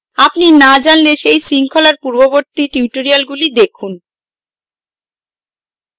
আপনি না জানলে এই শৃঙ্খলার পূর্ববর্তী টিউটোরিয়ালগুলি দেখুন